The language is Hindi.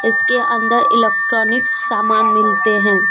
इसके अंदर इलेक्ट्रॉनिक सामान मिलते हैं।